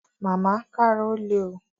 Màmá, kára ó le o